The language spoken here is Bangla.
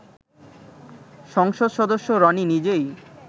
সংসদ সদস্য রনি নিজেই